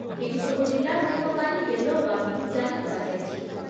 ଏହିସବୁ ଜିଲ୍ଲାଗୁଡ଼ିକ ପାଇଁ ୟେଲୋ ୱାର୍ନିଂ ଜାରି କରାଯାଇଛି ।